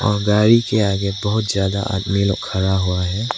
और गाड़ी के आगे बहुत ज्यादा आदमी लोग खड़ा हुआ है।